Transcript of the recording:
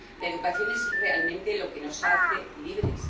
La educación es realmente lo que nos hace libres.